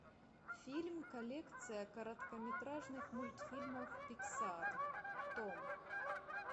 фильм коллекция короткометражных мультфильмов пиксар том